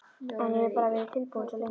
En ég hef bara verið tilbúinn svo lengi.